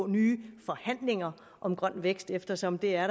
nye forhandlinger om grøn vækst eftersom der er